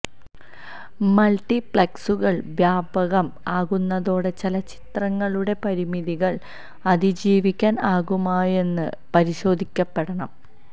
multi പ്ലക്സുകള് വ്യാപകം ആകുന്നതോടെ ചലച്ചിത്രങ്ങളുടെ പരിമിതികള് അതിജീവിക്കാന് ആകുമോയെന്ന് പരിശോധിക്കപ്പെടണം